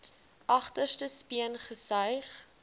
agterste speen gesuig